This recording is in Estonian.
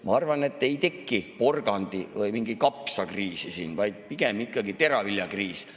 Ma arvan, et ei teki porgandi‑ või mingit kapsakriisi siin, vaid pigem ikkagi teraviljakriis.